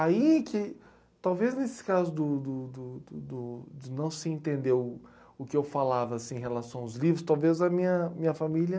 Aí que, talvez nesse caso do do do do do de não se entender o o que eu falava assim em relação aos livros, talvez a minha minha família...